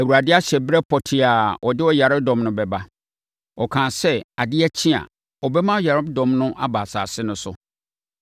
Awurade ahyɛ ɛberɛ pɔtee a ɔde ɔyaredɔm no bɛba. Ɔkaa sɛ adeɛ kye a, ɔbɛma ɔyaredɔm no aba asase no so.